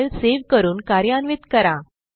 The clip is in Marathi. फाईल सेव्ह करून कार्यान्वित करा